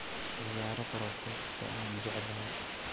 ciyaaro podcast-ka aan jeclahay